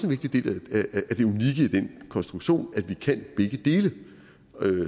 vigtig del af det unikke i den konstruktion at vi kan begge dele